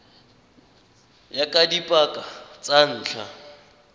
ya ka dipaka tsa ntlha